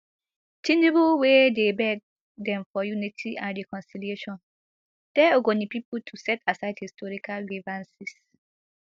tinubu wey dey beg dem for unity and reconciliation tell ogoni pipo to set aside historical grievances